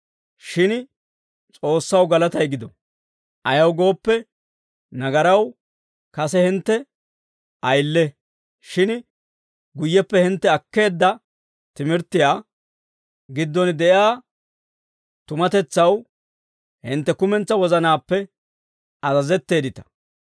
Shin S'oossaw galatay gido; ayaw gooppe, nagaraw kase hintte ayile; shin guyyeppe hintte akkeedda timirttiyaa giddon de'iyaa tumatetsaw hintte kumentsaa wozanaappe azazetteeddita.